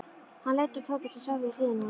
Hann leit á Tóta sem sat við hliðina á honum.